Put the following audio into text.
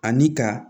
Ani ka